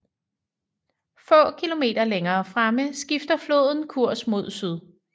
Få kilometer længere fremme skifter floden kurs mod syd